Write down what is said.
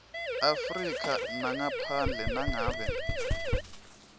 afrika ngaphandle nangabe